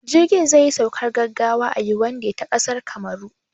Jirgin zai yi saukar gaggawa a Yawunde ta ƙasar Kamaru